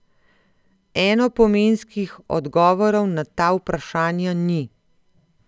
Enopomenskih odgovorov na ta vprašanja ni.